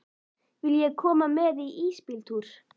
Viljiði koma með í ísbíltúr?